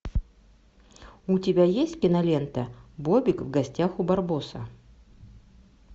у тебя есть кинолента бобик в гостях у барбоса